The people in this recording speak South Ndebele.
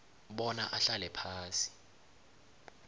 bona ahlale phasi